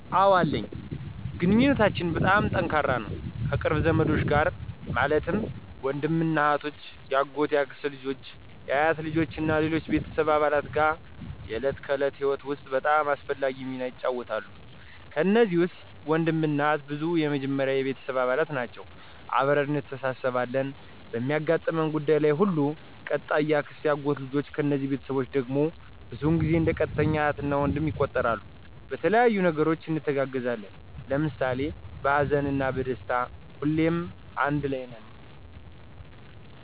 አወ አለኝ ግንኙነታችን በጣም ጠንካራ ነው ከቅርብ ዘመዶች ጋር ማለትም ወንድምና እህቶች፣ የአጎት፣ የአክስት ልጆች አ፣ አያቶች እና ከሌሎች ቤተሰብ አባላት ጋር የዕለት ከዕለት ህይወት ውስጥ በጣም አስፈላጊ ሚና ይጫወታሉ። ከነዚህ ውስጥ ወንድምና እህት ብዙ ጊዜ የመጀመሪያ የቤተሰብ አባል ናቸወ አብረን እንተሳስብ አለን በሚያጋጥሙን ጉዳዩች ለይ ሁሉ። ቀጣይ የአክስትና የአጎት ልጆች እነዚህ ቤተስቦቸ ድግም ብዙውን ጊዜው እንደ ቀጥተኛ እህት እና ወንድም ይቆጠራሉ በተለያዩ ነገሮች እንተጋገዛለን ለምሳሌ በሀዘንና በደስታ ሁሌም ነገር አንድ ለይ ነን።